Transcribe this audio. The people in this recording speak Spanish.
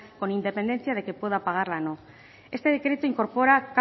con independencia de que pueda pagarla o no este decreto incorpora